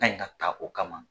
Kan ka ta o kama.